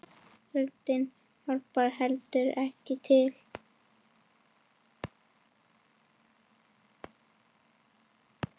Kuldinn hjálpar heldur ekki til.